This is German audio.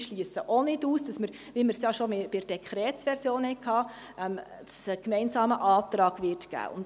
Ich schliesse ebenfalls nicht aus, dass es einen gemeinsamen Antrag geben wird, wie wir es ja schon bei der Dekretsversion hatten.